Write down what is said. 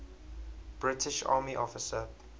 british army officer